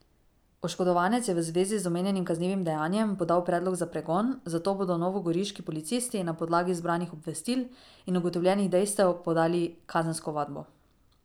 Oškodovanec je v zvezi z omenjenim kaznivim dejanjem podal predlog za pregon, zato bodo novogoriški policisti na podlagi zbranih obvestil in ugotovljenih dejstev podali kazensko ovadbo.